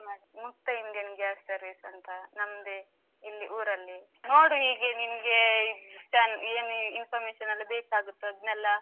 ಮುಕ್ತ Indian gas service ಅಂತ, ನಮ್ದೇ ಇಲ್ಲಿ ಊರಲ್ಲಿ ನೋಡು, ಹೀಗೆ ನಿಮ್ಗೆ information ಎಲ್ಲ ಬೇಕಾಗುತ್ತದ್ ಅದ್ನೆಲ್ಲ.